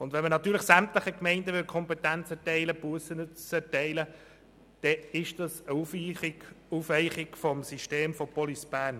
Wenn man sämtlichen Gemeinden die Kompetenz zur Bussenerteilung geben würde, wäre das eine Aufweichung des Systems der Police Bern.